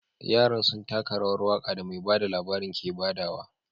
Yaran sun taka rawar waka da mai bada labarin ke badawa.